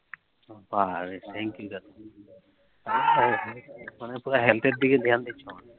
মানে তোমার Health এর দিগে ধ্যান দিছ না?